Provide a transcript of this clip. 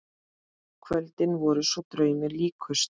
Kvöldin voru svo draumi líkust.